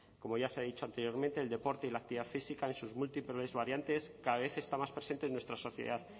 como ya se ha dicho anteriormente el deporte y la actividad física en sus múltiples variantes cada vez está más presente en nuestra sociedad